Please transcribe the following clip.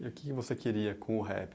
E o que você queria com o rap?